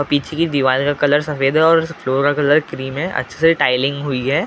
पीछे की दीवाल का कलर सफ़ेद हैं और फ्लोर का कलर क्रीम हैं अच्छे से टाईलिंग हुई हैं ।